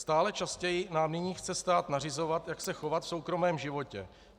Stále častěji nám nyní chce stát nařizovat, jak se chovat v soukromém životě.